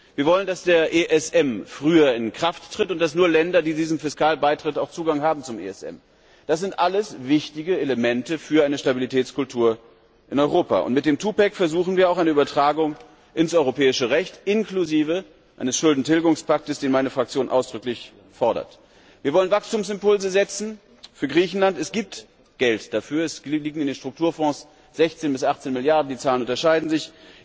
Wir wollen, dass der ESM früher in Kraft tritt und dass nur Länder, die diesem Fiskalpakt beitreten, auch Zugang zum ESM haben. Das sind alles wichtige Elemente für eine Stabilitätskultur in Europa, und mit dem Twopack versuchen wir auch eine Übertragung in das Europäische Recht, inklusive eines Schuldentilgungspaktes, den meine Fraktion ausdrücklich fordert. Wir wollen für Griechenland Wachstumsimpulse setzen. Es gibt Geld dafür. In den Strukturfonds liegen sechzehn bis achtzehn Milliarden, die Zahlen unterscheiden